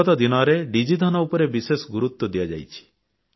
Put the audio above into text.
ବିଗତ ଦିନରେ ଡିଜିଧନ ଉପରେ ବେଶ ଗୁରୁତ୍ୱ ଦିଆଯାଇଛି